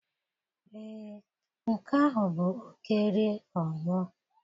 Ee, nke ahụ bụ oké rie ọ nwụọ.